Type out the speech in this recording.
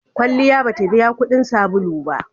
Kwalliya ba ta biya kuɗin sabulu ba.